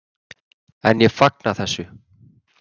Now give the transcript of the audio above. En ég fagna þessu.